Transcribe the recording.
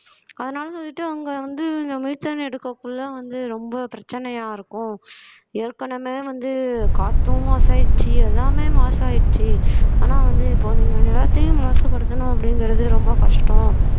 அதனால வந்துட்டு அவங்க வந்து இந்த methane எடுக்கக்குள்ள வந்து ரொம்ப பிரச்சனையா இருக்கும் ஏற்கனவே வந்து காத்தும் மாசு ஆயிடுச்சு எல்லாமே மாசு ஆயிடுச்சு ஆனா வந்து இப்ப நீங்க நிலத்தையும் மாசுபடுத்தணும் அப்படிங்கிறது ரொம்ப கஷ்டம்